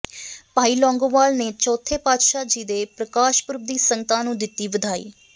ਭਾਈ ਲੌਂਗੋਵਾਲ ਨੇ ਚੌਥੇ ਪਾਤਸ਼ਾਹ ਜੀ ਦੇ ਪ੍ਰਕਾਸ਼ ਪੁਰਬ ਦੀ ਸੰਗਤਾਂ ਨੂੰ ਦਿੱਤੀ ਵਧਾਈ